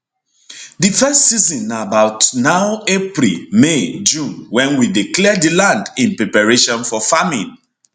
di first season na about now april may june wen we dey clear di land in preparation for farming